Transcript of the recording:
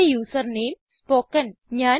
എന്റെ user name spoken